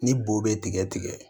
Ni bo be tigɛ tigɛ